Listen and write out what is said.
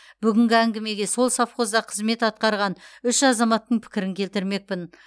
бүгінгі әңгімеге сол совхозда қызмет атқарған үш азаматтың пікірін келтірмекпін